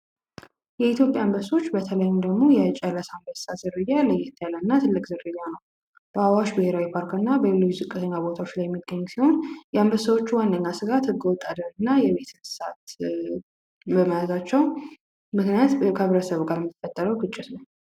የኢትዮጵያ አንብሶ ዝርያ በተለይም ደግሞ የጨረሰ አንበሳ ዝርያ ተለቅ ያለ እና በአዋሽ ብሄራዊ ፓርክና በሌሎች ዝቅተኛ ቦታዎች የሚገኝ የአንበሳዎቹ ዋነኛ ስጋት ህገወጥ አደን እና የቤት እንስሳት በመያዝ ምክንያት ወይም ከማህበረሰቡ ጋር በመጣላታቸው ነው።